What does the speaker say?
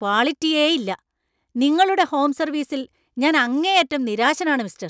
ക്വാളിറ്റിയേയില്ല. നിങ്ങളുടെ ഹോം സർവീസിൽ ഞാൻ അങ്ങേയറ്റം നിരാശനാണ് മിസ്റ്റര്‍.